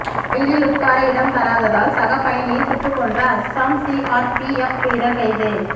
ரயிலில் உட்கார இடம் தராததால் சக பயணியை சுட்டு கொன்ற அஸ்ஸாம் சிஆர்பிஎப் வீரர் கைது